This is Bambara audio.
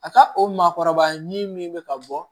A ka o maakɔrɔba ɲin min bɛ ka bɔ